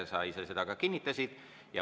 Sa ise seda ka kinnitasid.